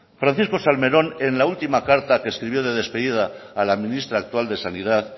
francisco salmerón en la última carta que escribió de despedida a la ministra actual de sanidad